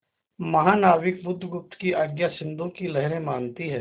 महानाविक बुधगुप्त की आज्ञा सिंधु की लहरें मानती हैं